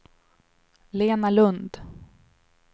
Lena Lund